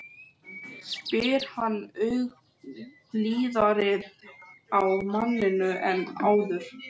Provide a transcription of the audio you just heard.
spyr hann ögn blíðari á manninn en áður.